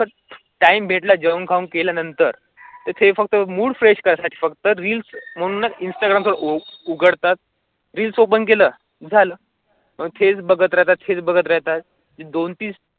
Time भेटला जेव्हा काम केल्यानंतर ते फक्त मूड फ्रेश कारा साटी फक्त रील्स इंस्टाग्राम उघडतात रील्स ओपन केलं झालं फक्त तेच भगत रहातथ तेच भगत रहातथ.